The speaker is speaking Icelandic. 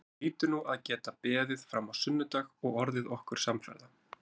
Þú hlýtur nú að geta beðið fram á sunnudag og orðið okkur samferða